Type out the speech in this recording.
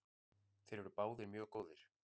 Þeir eru báðir mjög góðir.